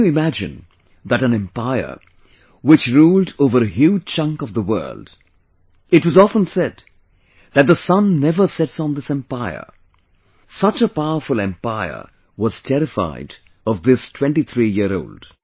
Can you imagine that an Empire, which ruled over a huge chunk of the world, it was often said that the Sun never sets on this empire such a powerful empire was terrified of this 23 year old